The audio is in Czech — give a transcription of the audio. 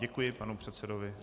Děkuji panu předsedovi.